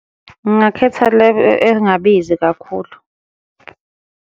Ngingakhetha le engabizi kakhulu.